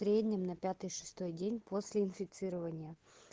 в среднем на пятый шестой день после инфицирования